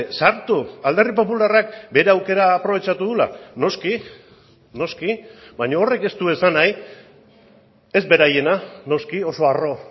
sartu alderdi popularrak bere aukera aprobetxatu duela noski noski baina horrek ez du esan nahi ez beraiena noski oso harro